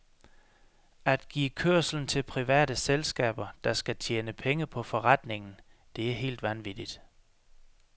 At give kørslen til private selskaber, der skal tjene penge på forretningen, det er helt vanvittigt.